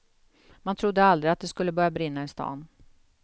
Man trodde aldrig att det skulle börja brinna i stan.